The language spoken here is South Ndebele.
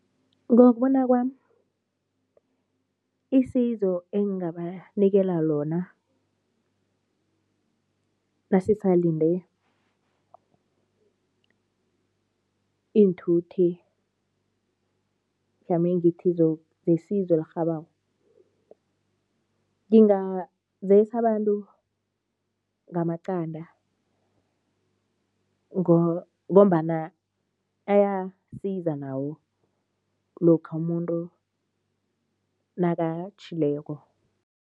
Ngokubona kwami, isizo engingabanikela lona nasisalinde iinthuthi, mhlamunye ngithi zesizo elirhabako, ngingazesa abantu ngamaqanda ngombana ayasiza nawo lokha umuntu nakatjhileko.